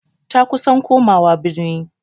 Ta kusan komawa birni.